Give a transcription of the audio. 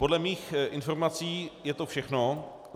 Podle mých informací je to všechno.